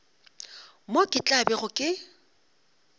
moo ke tla bego ke